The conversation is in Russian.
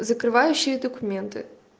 закрывающие документы